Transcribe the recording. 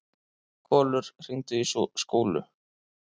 Kolur, hringdu í Skúlu.